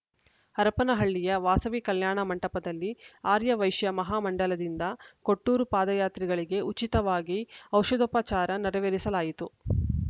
ಹರಪನಹಳ್ಳಿಯ ವಾಸವಿ ಕಲ್ಯಾಣ ಮಂಟಪದಲ್ಲಿ ಆರ್ಯ ವೈಶ್ಯ ಮಹಾ ಮಂಡಲದಿಂದ ಕೊಟ್ಟೂರು ಪಾದಯಾತ್ರಿಗಳಿಗೆ ಉಚಿತವಾಗಿ ಔಷಧೋಪಚಾರ ನೆರವೇರಿಸಲಾಯಿತು